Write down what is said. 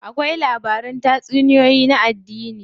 Akwai labaran tatsuniyoyin na addini.